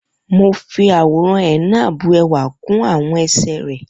Mo fi àwòrán henna bu ẹwà kún àwọn ẹsẹ̀ rẹ